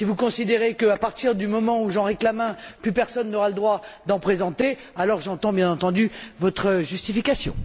Si vous considérez qu'à partir du moment où j'en réclame un, plus personne n'aura le droit d'en présenter, alors j'entends, bien entendu, votre justification.